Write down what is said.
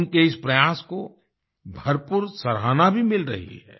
उनके इस प्रयास को भरपूर सराहना भी मिल रही है